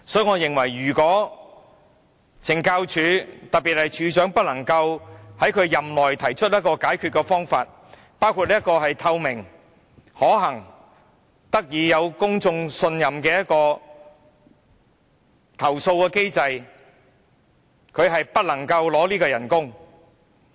我認為，如果署長無法在任內提出解決方法，包括制訂透明可行而獲得公眾信任的投訴機制，他便不應領取薪金。